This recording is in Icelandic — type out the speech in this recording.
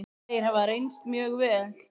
Þeir hafa reynst mjög vel.